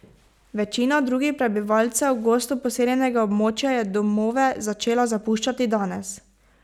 Večina drugih prebivalcev gosto poseljenega območja je domove začela zapuščati danes.